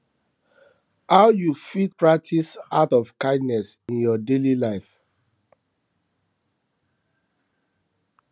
how you fit practice acts of kindness in your daily life